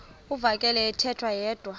uvakele ethetha yedwa